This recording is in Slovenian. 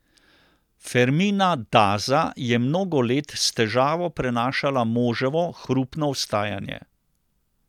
Fermina Daza je mnogo let s težavo prenašala moževo hrupno vstajanje.